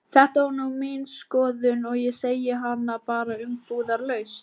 Þetta er nú mín skoðun og ég segi hana bara umbúðalaust.